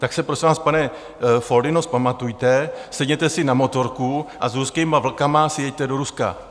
Tak se prosím vás, pane Foldyno, vzpamatujte, sedněte si na motorku a s ruskými Vlky si jeďte do Ruska.